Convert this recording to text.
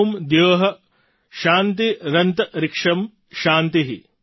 ૐ દ્યો શાન્તિરન્તરિક્ષં શાન્તિ